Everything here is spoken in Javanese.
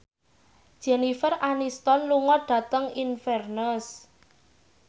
Jennifer Aniston lunga dhateng Inverness